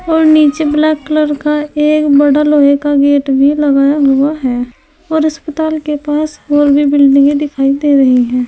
और नीचे black colour का एक बड़ा लोहे का गेट भी लगा हुआ है और अस्पताल के पास और भी बिल्डिंगे दिखाई दे रही हैं।